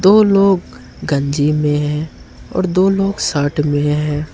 दो लोग गंजी में हैं और दो लोग शर्ट में हैं।